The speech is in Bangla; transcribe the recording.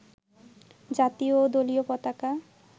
জাতীয় ও দলীয় পতাকা